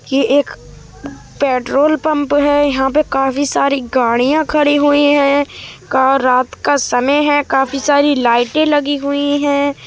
ये एक petrol pump हैं| यहाँ पर काफी सारी गाड़ियां खड़ी हुई हैं| रात का समय है काफी सारी लाइटे लगी हुई हैं।